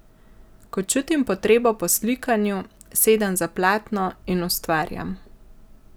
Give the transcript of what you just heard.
Ko čutim potrebo po slikanju, sedem za platno in ustvarjam.